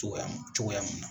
Cogoya mun cogoya munna